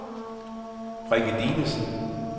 Rikke Dinesen